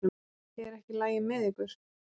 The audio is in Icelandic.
Er ekki í lagi með ykkur?